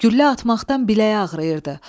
Güllə atmaqdan biləyi ağrıyırdı.